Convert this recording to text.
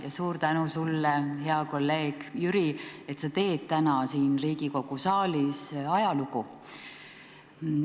Ja suur tänu, sulle, hea kolleeg Jüri, et sa teed täna siin Riigikogu saalis ajalugu!